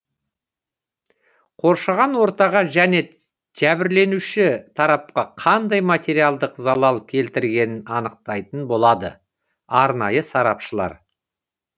қоршаған ортаға және жәбірленуші тарапқа қандай материалдық залал келтірілгенін анықтайтын болады арнайы сарапшылар